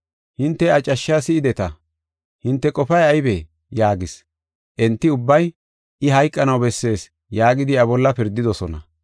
Hinte iya cashsha si7ideta; hinte qofay aybee?” yaagis. Enti ubbay, “I hayqanaw bessees” yaagidi iya bolla pirdidosona.